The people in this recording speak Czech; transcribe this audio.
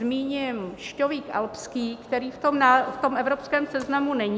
Zmíním šťovík alpský, který v tom evropském seznamu není.